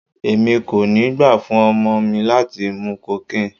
Èmi kò ní gbà fún ọmọ mi láti mú cocaine.